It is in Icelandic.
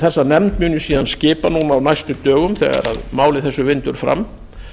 þessa nefnd mun ég síðan skipa núna á næstu dögum þegar máli þessu vindur fram